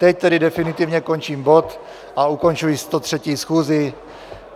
Teď tedy definitivně končím bod a končím 103. schůzi.